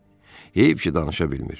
Heyf ki, danışa bilmir.